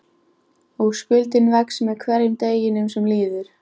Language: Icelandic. Og skuldin vex með hverjum deginum sem líður.